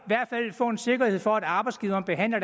i få en sikkerhed for at arbejdsgiveren behandler